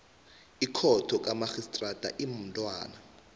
ikhotho kamarhistrada imntwana